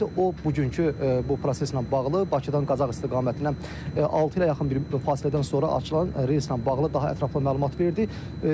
O bugünkü bu proseslə bağlı Bakıdan Qazax istiqamətinə altı ilə yaxın bir fasilədən sonra açılan reyslə bağlı daha ətraflı məlumat verdi.